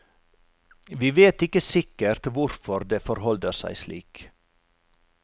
Vi vet ikke sikkert hvorfor det forholder seg slik.